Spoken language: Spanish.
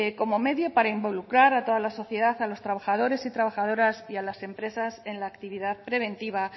como medio para involucrar a toda la sociedad a los trabajadores trabajadoras y a las empresas en la actividad preventiva